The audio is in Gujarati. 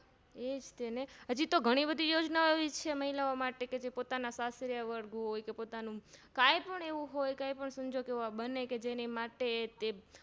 એજ તેને હજીતો ગણી બધી યોજનાઓ એવી છે મહિલાઓ માટે કે પોતાના કાઈપણ એવું હોય કાઈ પણ સંજોગ એવા બને કે જેની